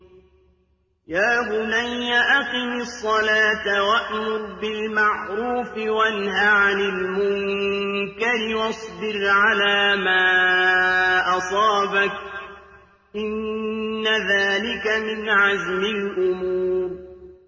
يَا بُنَيَّ أَقِمِ الصَّلَاةَ وَأْمُرْ بِالْمَعْرُوفِ وَانْهَ عَنِ الْمُنكَرِ وَاصْبِرْ عَلَىٰ مَا أَصَابَكَ ۖ إِنَّ ذَٰلِكَ مِنْ عَزْمِ الْأُمُورِ